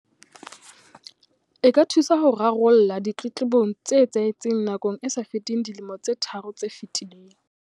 E ka thusa ho rarolla ditletlebong tse etsahetseng nakong e sa feteng dilemo tse tharo tse fetileng.